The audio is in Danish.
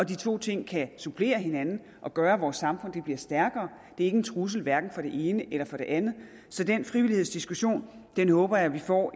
to ting kan supplere hinanden og gøre at vores samfund bliver stærkere det er ikke en trussel hverken for det ene eller for det andet så den frivillighedsdiskussion håber jeg at vi får